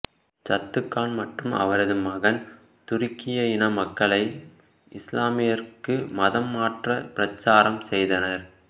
சத்துக் கான் மற்றும் அவரது மகன் துருக்கிய இன மக்களை இசுலாமிற்கு மதம் மாற பிரச்சாரம் செய்தனர்